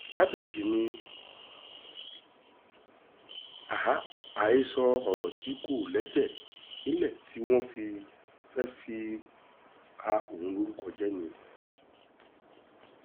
kábíyèsí ni àhesọ ọ̀rọ̀ tí kò lẹ́sẹ̀ nílẹ̀ tí wọ́n sì fẹ́ẹ́ fi ba òun lórúkọ jẹ́ ni